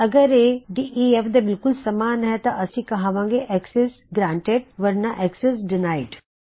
ਅਗਰ ਇਹ ਡੇਫ ਦੇ ਬਿਲਕੁਲ ਸਮਾਨ ਹੈ ਤਾਂ ਅਸੀ ਕਹਵਾਂਗੇ ਅਕਸੈਸ ਗਰਾਨਟੀਡ ਵਰਨਾ ਅਕਸੈਸ ਡਿਨਾਇਡ